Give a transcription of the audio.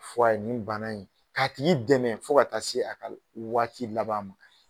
Fɔ a ye nin bana in k'a t'i dɛmɛ fo ka taa se a ka waati laban ma